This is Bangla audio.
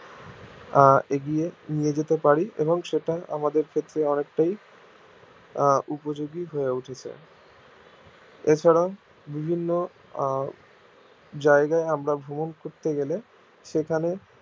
আহ এগিয়ে নিয়ে যেতে পারি এবং সেটা আমাদের ক্ষেত্রে অনেকটাই আহ উপযোগী হয় উঠেছে এছাড়াও বিভিন্ন আহ জায়গায় আমার ভ্রমণ করতে গেলে সেখানে